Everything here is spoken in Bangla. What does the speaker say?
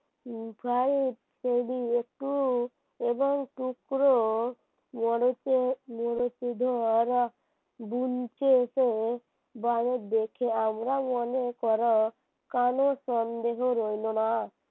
একটু এবং টুকরো করেছে ধরা বৃন্তে এসে বনের দেশে আমরা মনে কর কোন সন্দেহ রইল না